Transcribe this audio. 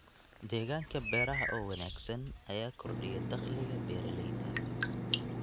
Deegaanka beeraha oo wanaagsan ayaa kordhiya dakhliga beeralayda.